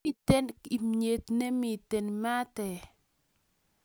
Miten imywt nemiten maat eeh